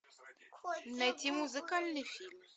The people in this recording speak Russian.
найти музыкальный фильм